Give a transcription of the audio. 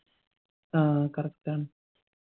ആ correct ആണ്